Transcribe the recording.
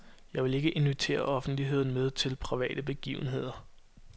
Jeg vil ikke invitere offentligheden med til private begivenheder.